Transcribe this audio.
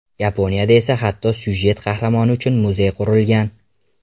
Yaponiyada esa hatto syujet qahramoni uchun muzey qurilgan.